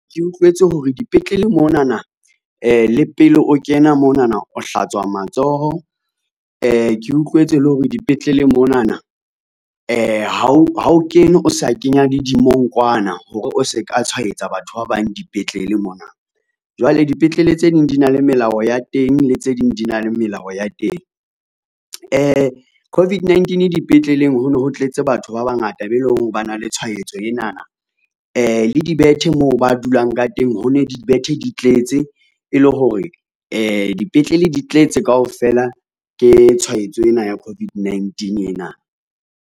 Ke utlwetse hore dipetlele monana le pele o kena monana o hlatswa matsoho. Ke utlwetse hore dipetlele monana ha o ha o kene, o sa kenya le dimongkwana hore o se ka tshwaetsa batho ba bang dipetlele mona, jwale dipetlele tse ding di na le melao ya teng, le tse ding di na le melao ya teng. COVID-19 dipetleleng ho no ho tletse batho ba bangata be leng hore ba na le tshwaetso enana, le dibethe moo ba dulang ka teng ho ne dibethe di tletse e le hore dipetlele di tletse kaofela ke tshwaetso ena ya COVID-19 ena.